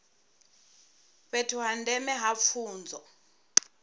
fhethu ha ndeme ha pfunzo